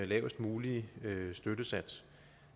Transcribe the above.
lavest mulige støttesats